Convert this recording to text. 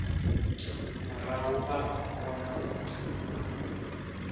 murahu vha o kona u